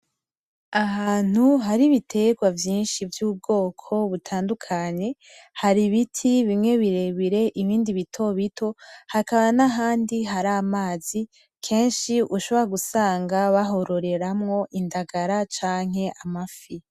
Ahantu hari ibitegwa vyinshi vy'ubwoko butandukanye , hari ibiti bimwe birebire ibindi bitobito , hakaba n'ahandi hari amazi kenshi ushobora gusanga bahororeramwo indagala canke amafi.